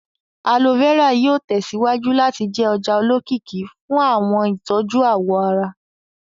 Aloe vera yóò tẹsíwájú láti jẹ́ ọjà olókìkí fún àwọn ìtọ́jú àwọ̀ ará